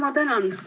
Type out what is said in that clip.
Ma tänan!